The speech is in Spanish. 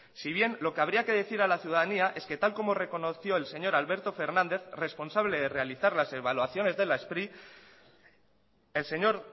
si bien lo que habría que decir a la ciudadanía es que tal como reconoció el señor alberto fernández responsable de realizar las evaluaciones de las spri el señor